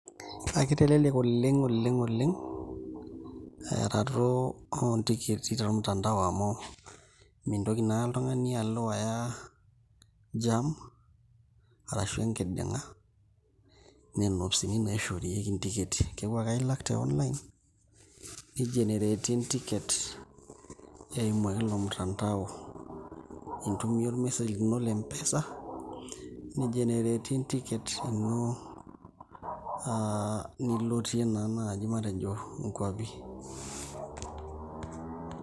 Kitelelek oleng' oleng' eyaroto oontikiti tormutandao amu mimtoki naa oltung'ani alo aya [cs[jam arashu enkiding'a nena ofisini naishoorieki ntikiti, eeku ake ailak te online nigenereti entiket eimu ilo mutandao intumia ormesej lino le M-pesa nigenereti entiket ino aa nilotie naa naaji matejo nkuapi.